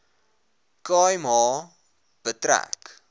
khai ma betrek